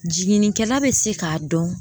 Jiginnikɛla bɛ se k'a dɔn